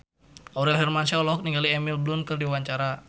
Aurel Hermansyah olohok ningali Emily Blunt keur diwawancara